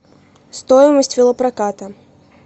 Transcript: стоимость велопроката